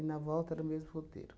E na volta era o mesmo roteiro.